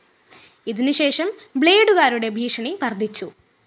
ഇതിന് ശേഷം ബ്‌ളേഡുകരുടെ ഭീഷണി വര്‍ദ്ധിച്ചു